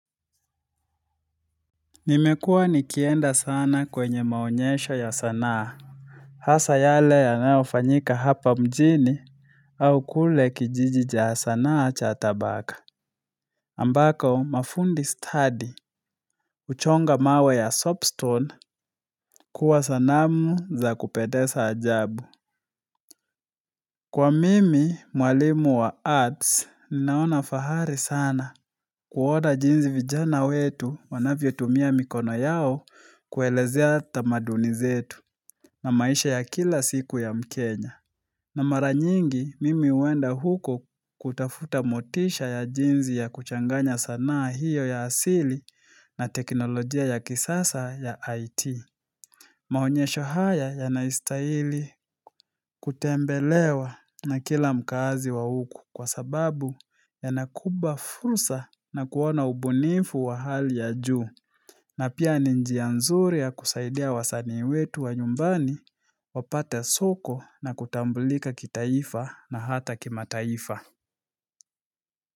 Nimekuwa nikienda sana kwenye maonyesho ya sanaa. Hasa yale yanayofanyika hapa mjini au kule kijiji cha sanaa cha tabaka. Ambako mafundi study, huchonga mawe ya soapstone kuwa sanamu za kupendeza ajabu. Kwa mimi, mwalimu wa arts, ninaona fahari sana kuwoda jinzi vijana wetu wanavyo tumia mikono yao kuelezea tamaduni zetu. Na maisha ya kila siku ya mkenya. Na mara nyingi, mimi huenda huko kutafuta motisha ya jinsi ya kuchanganya sanaa hiyo ya asili na teknolojia ya kisasa ya IT. Maonyesho haya yanaistaili kutembelewa na kila mkazi wa huku kwa sababu ya nakupa fursa na kuona ubunifu wa hali ya juu. Na pia ni njia nzuri ya kusaidia wasanii wetu wa nyumbani wapate soko na kutambulika kitaifa na hata kima taifa.